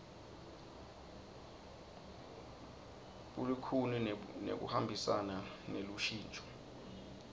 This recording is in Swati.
bulikhuni nekuhambisana nelushintso